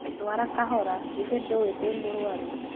Ndwara kahora githĩ ndũĩ ndĩ mũrũaru